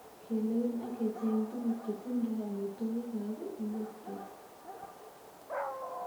Kelewen ak kecheng tuguk chetindoi amitwogik ab ingokyet.